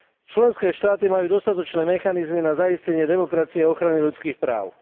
Členské štáty majú dostatočné mechanizmy na zaistenie demokracie a ochrany ľudských práv.